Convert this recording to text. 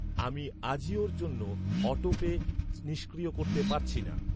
আমি আজিওর জন্য অটোপে নিষ্ক্রিয় করতে পারছি না।